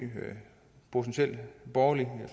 borgerligt